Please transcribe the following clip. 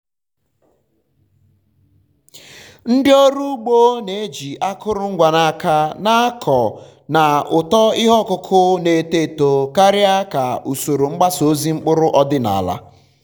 ndị ọrụ ugbo na-eji akụrụngwa n’aka na-akọ na uto ihe ọkụkụ na-eto eto karịa ka usoro mgbasa ozi mkpụrụ ọdịnala.